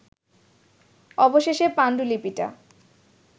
অবশেষে পাণ্ডুলিপিটা